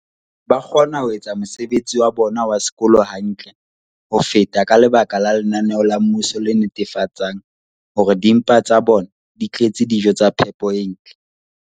ba kgona ho etsa mosebetsi wa bona wa sekolo hantle ho feta ka lebaka la lenaneo la mmuso le netefatsang hore dimpa tsa bona di tletse dijo tsa phepo e ntle.